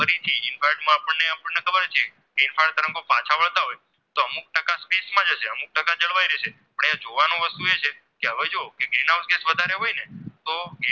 જળવાય રહેશે આપણે જોવાનું વસ્તુ એ છે કે હવે જો Green house gas જો વધારે હોય ને તો